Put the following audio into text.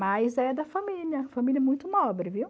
Mas é da família, família muito nobre, viu?